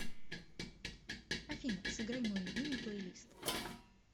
афина сыграй мой любимый плейлист